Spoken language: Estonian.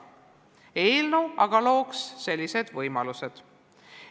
Eelnõu aga looks sellised võimalused.